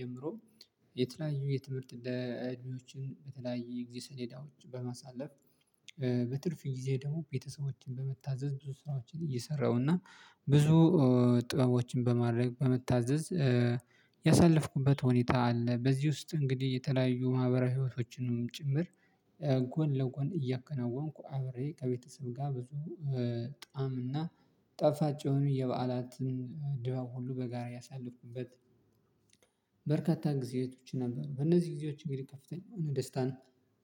ጀምሮ የተለያዩ የትምህርት እንደ እድሜዎችን በተለያዩ የግዜ ሰሌዳዎች በማሳለፍ በትርፍ ጊዜ ደግሞ ቤተሰቦችን በመታዘዝ ብዙ ስራዎችን እየሰራሁ እና ብዙ ጥበቦችን በማድረግ በመታዘዝ ያሳለፍኩበት ሁኔታ አለ። በዚህ ውስጥ እንግዲህ የተለያዩ ማህበራዊ ህይዎቶችንም ጭምር ጎን ለጎን እያከናወንኩ አብሬ ከቤተሰብ ጋር ብዙ ጣዕም እና ጠፋጭ የሆኑ የበዓላትን ድባብ ሁሉ በጋራ ያሳለፍኩበት በርካታ ጊዜዎች ነበሩ። በእነዚህ ጊዜዎች እንግዲህ ከፍተኛ ደስታን